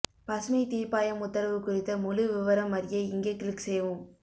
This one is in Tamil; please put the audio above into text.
பசுமைத் தீர்ப்பாயம் உத்தரவு குறித்த முழு விவரம் அறிய இங்கே க்ளிக் செய்யவும்